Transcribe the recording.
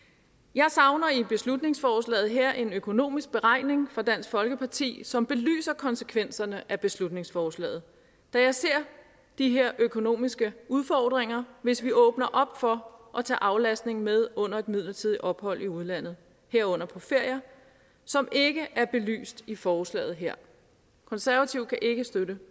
jeg savner i beslutningsforslaget her en økonomisk beregning fra dansk folkeparti som belyser konsekvenserne af beslutningsforslaget da jeg ser de her økonomiske udfordringer hvis vi åbner op for at tage aflastningen med under et midlertidigt ophold i udlandet herunder på ferier som ikke er belyst i forslaget her konservative kan ikke støtte